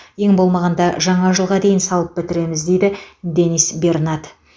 ең болмағанда жаңа жылға дейін салып бітіреміз дейді денис бернат